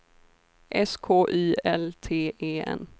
S K Y L T E N